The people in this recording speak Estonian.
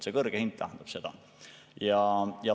See kõrge hind tähendab seda.